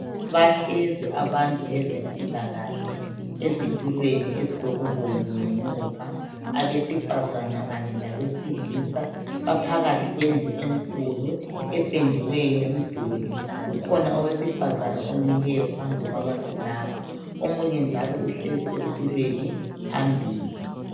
Bahlezi abantu bezempilakahle ezitulweni ezilokubomvu ngemuva. Abesifazana kanye labesilisa baphakathi kwendlu enkulu ependiweyo umduli. Kukhona owesifazana omileyo phambi kwabantu laba omunye njalo uhlezi esitulweni phambili.